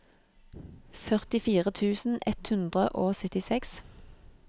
førtifire tusen ett hundre og syttiseks